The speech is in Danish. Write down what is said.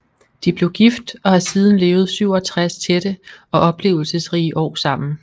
De blev gift og har siden levet 67 tætte og oplevelsesrige år sammen